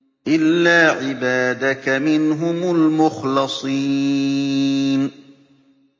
إِلَّا عِبَادَكَ مِنْهُمُ الْمُخْلَصِينَ